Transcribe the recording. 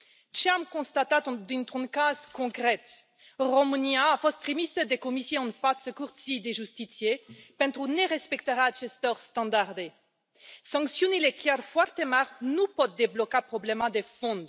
Ce am constatat dintr un caz concret România a fost trimisă de Comisie în fața Curții de Justiție pentru nerespectarea acestor standarde. Sancțiunile, chiar foarte mari, nu pot debloca problema de fond.